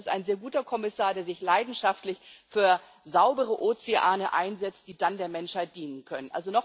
Ich finde, er ist ein sehr guter Kommissar, der sich leidenschaftlich für saubere Ozeane einsetzt, die dann der Menschheit dienen können.